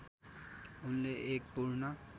उनले एक पूर्ण